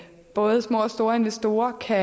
både små og store investorer kan